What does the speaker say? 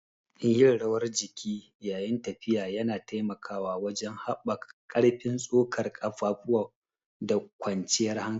Yin rawar jiki yayin tafiya yana taimakawa wajen haɓaka ƙarfin tsokar ƙafafu da kwanciyar hankali.